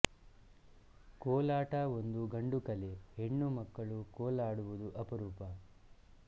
ಕೋಲಾಟ ಒಂದು ಗಂಡು ಕಲೆ ಹೆಣ್ಣು ಮಕ್ಕಳು ಕೋಲಾಡುವುದು ಅಪರೂಪ